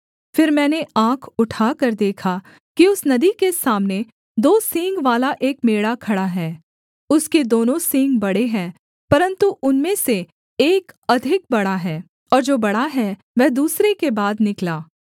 फिर मैंने आँख उठाकर देखा कि उस नदी के सामने दो सींगवाला एक मेढ़ा खड़ा है उसके दोनों सींग बड़े हैं परन्तु उनमें से एक अधिक बड़ा है और जो बड़ा है वह दूसरे के बाद निकला